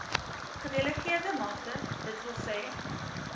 gedelegeerde magte dws